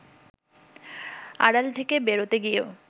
আড়াল থেকে বেরোতে গিয়েও